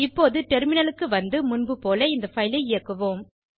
இப்போது டெர்மினலுக்கு வந்து முன்புபோல இந்த பைல் ஐ இயக்குவோம்